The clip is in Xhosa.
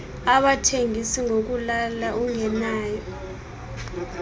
abathengis ngokulala ungenayo